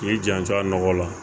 K'i janto a nɔgɔ la